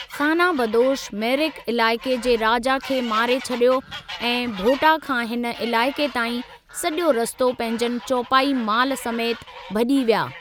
ख़ाना बदोश मेरिक इलाइक़े जे राजा खे मारे छॾियो ऐं भोटां खां हिन इलाइक़े ताईं सॼो रस्तो पंहिंजनि चौपाई मालु समेति भॼी विया।